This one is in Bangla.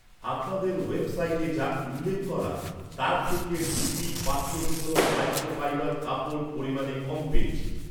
আপনাদের ওয়েবসাইটে যা উল্লেখ করা তার থেকে ডিপি পাত্র শুকোনোর মাইক্রোফাইবার কাপড় পরিমানে কম পেয়েছি।